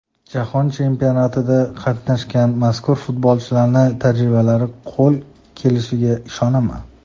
Jahon chempionatida qatnashgan mazkur futbolchilarning tajribalari qo‘l kelishiga ishonaman.